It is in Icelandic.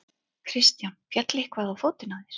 Kristján: Féll eitthvað á fótinn á þér?